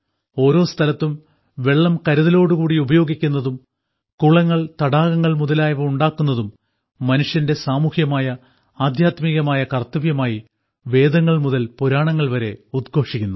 ഓരോ സ്ഥലത്തും വെള്ളം കരുതലോടു കൂടി ഉപയോഗിക്കുന്നതും കുളങ്ങൾ തടാകങ്ങൾ മുതലായവ ഉണ്ടാക്കുന്നതും മനുഷ്യന്റെ സാമൂഹ്യമായ ആദ്ധ്യാത്മികമായ കർത്തവ്യമായി വേദങ്ങൾ മുതൽ പുരാണങ്ങൾ വരെ ഉദ്ഘോഷിക്കുന്നു